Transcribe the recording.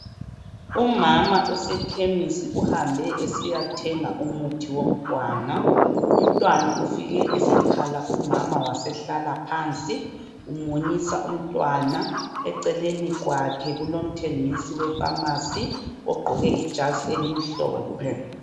Umama usekhemisi uhambe esiya thenga umuthi womntwana. Umntwana ufike esekhala umama wasehlala phansi umunyisa umntwana, eceleni kwakhe kulomthengisi wefamasi ogqoke ijazi elimhlophe.